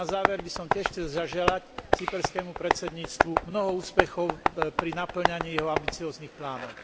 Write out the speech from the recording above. Na záver by som tiež chcel zaželať cyperskému predsedníctvu mnoho úspechov pri napĺňaní jeho ambicióznych plánov.